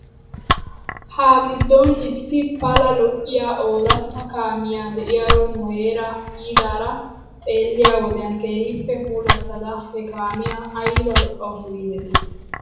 Ha giddon issi pala lo'iyaa ooratta kaamiyaa de'iyaara nu heeraaa yiidaara xeelliyo wodiyan keehippe puulattada he kaamiyaa ayba lo'awsu giidetii?